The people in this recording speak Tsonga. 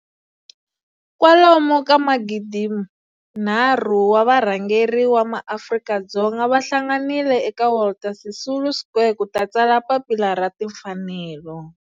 Kwalomu ka magidi nharhu wa varhangeri va maAfrika-Dzonga va hlanganile eka Walter Sisulu Square ku ta tsala Papila ra Timfanelo.